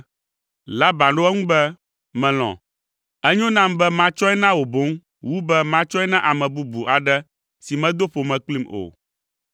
Laban ɖo eŋu be, “Melɔ̃. Enyo nam be matsɔe na wò boŋ wu be matsɔe na ame bubu aɖe si medo ƒome kplim o.”